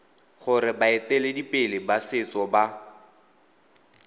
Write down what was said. gore baeteledipele ba setso ba